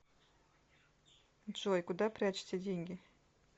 джой куда прячете деньги